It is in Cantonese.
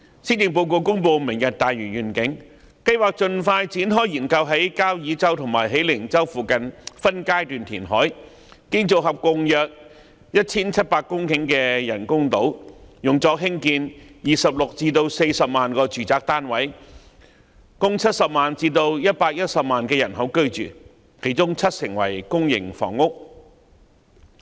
施政報告公布"明日大嶼願景"，計劃盡快展開研究在交椅洲和喜靈洲附近水域分階段填海，建造合共約 1,700 公頃的人工島，用作興建26萬至40萬個住宅單位，供70萬至110萬人口居住，當中七成為公營房屋。